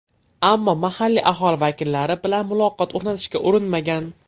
Ammo mahalliy aholi vakillari bilan muloqot o‘rnatishga urinmagan.